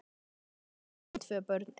Auðvitað eru engin tvö börn eins.